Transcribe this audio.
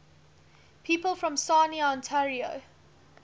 people from sarnia ontario